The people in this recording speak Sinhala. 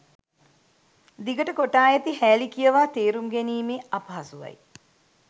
දිගට කොටා ඇති හෑලි කියවා තේරුම් ගැනීමේ අපහසුවයි